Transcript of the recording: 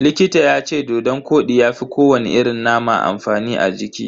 Likita yace dodon kodi ya fi ko wani irin nama amfani a jiki.